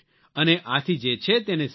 અને આથી જે છે તેને સ્વીકારો